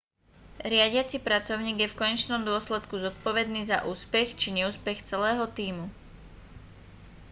riadiaci pracovník je v konečnom dôsledku zodpovedný za úspech či neúspech celého tímu